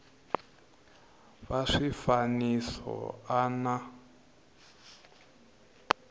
va swifaniso swa a na